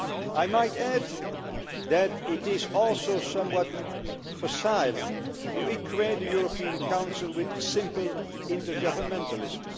I might add that it is also somewhat facile to equate the European Council with simple intergovernmentalism.